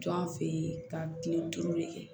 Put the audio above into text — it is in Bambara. Jɔn an fɛ yen ka kile duuru de kɛ